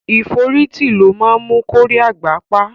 Ìforítī lo mu kórí àgbà pá